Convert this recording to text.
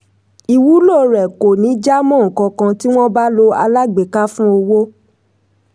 ìwúlò rẹ̀ kò ní jámọ́ ǹkankan tí wọ́n bá lo alágbèéká fún owó.